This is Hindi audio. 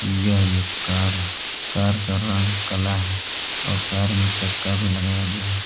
यह एक कार है कार का रंग काला है और कार मे चक्का भी लगाया गया है।